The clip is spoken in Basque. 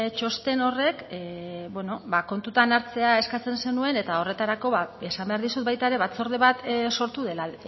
txosten horrek bueno kontutan hartzea eskatzen zenuen eta horretarako esan behar dizut baita ere batzorde bat sortu dela